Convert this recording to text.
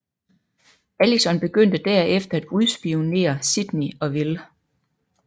Allison begyndte derefter at udspionere Sydney og Will